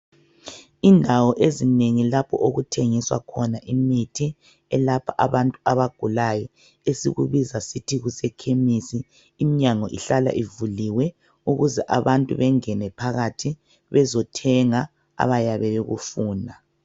Indawo ezinengi lapho okuthengiswa khona imithi elapha abantu abagulayo esikubiza sithi kusekhemisi, imnyango ihlala ivuliwe ukuze abantu bengene phakathi bezothenga abayabe bekufuna.